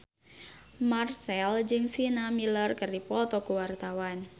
Marchell jeung Sienna Miller keur dipoto ku wartawan